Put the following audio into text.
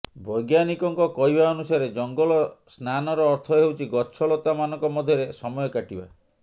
ବୈଜ୍ଞାନିକଙ୍କ କହିବା ଅନୁସାରେ ଜଙ୍ଗଲ ସ୍ନାନର ଅର୍ଥ ହେଉଛି ଗଛ ଲତାମାନଙ୍କ ମଧ୍ୟରେ ସମୟ କାଟିବା